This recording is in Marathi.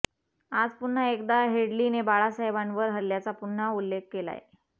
आज पुन्हा एकदा हेडलीने बाळासाहेबांवर हल्ल्याचा पुन्हा उल्लेख केलाय